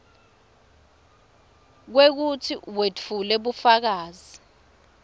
kwekutsi wetfule bufakazi